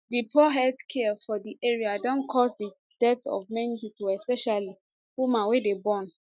di poor healthcare for di area don cause di death of many pipo especially women wey dey born